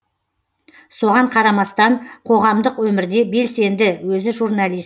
соған қарамастан қоғамдық өмірде белсенді өзі журналист